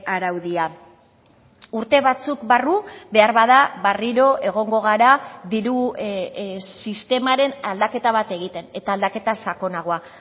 araudia urte batzuk barru beharbada berriro egongo gara diru sistemaren aldaketa bat egiten eta aldaketa sakonagoa